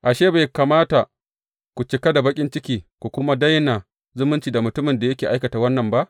Ashe, bai kamata ku cika da baƙin ciki ku kuma daina zumunci da mutumin da yake aikata wannan ba?